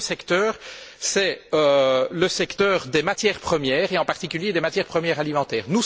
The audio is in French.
Le deuxième secteur est celui des matières premières, et en particulier des matières premières alimentaires.